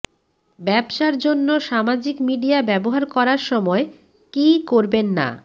ব্যবসার জন্য সামাজিক মিডিয়া ব্যবহার করার সময় কি করবেন না